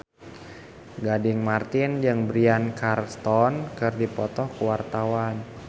Gading Marten jeung Bryan Cranston keur dipoto ku wartawan